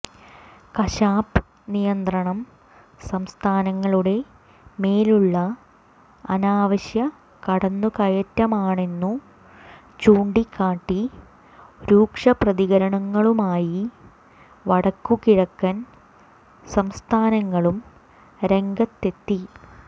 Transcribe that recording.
കശാപ്പ് നിയന്ത്രണം സംസ്ഥാനങ്ങളുടെ മേലുള്ള അനാവശ്യ കടന്നു കയറ്റമാണെന്നു ചൂണ്ടിക്കാട്ടി രൂക്ഷ പ്രതികരണങ്ങളുമായി വടക്കു കിഴക്കൻ സംസ്ഥാനങ്ങളും രംഗത്തെത്തി